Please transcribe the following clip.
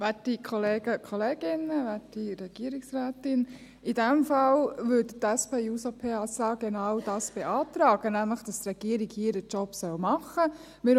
In diesem Fall würde die SP-JUSO-PSA genau dies beantragen, nämlich, dass die Regierung ihren Job machen soll.